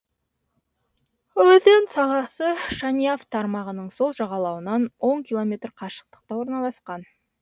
өзен сағасы шаняв тармағының сол жағалауынан он километр қашықтықта орналасқан